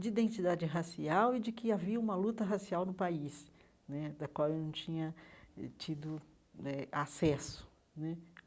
de identidade racial e de que havia uma luta racial no país né, da qual eu não tinha tido né acesso né.